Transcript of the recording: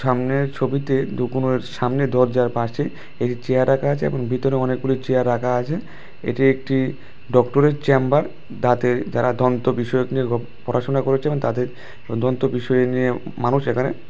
সামনের ছবিতে দোকানের সামনের দরজার পাশে একটি চেয়ার রাকা আচে এবং ভিতরে অনেক গুলি চেয়ার রাকা আচে এটি একটি ডক্টর -এর চেম্বার দাঁতের যারা দন্ত বিষয়ক নিয়ে পড়াশোনা করেছে এবং তাদের দন্ত বিষয় নিয়ে মানুষ এখানে--